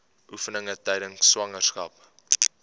oefeninge tydens swangerskap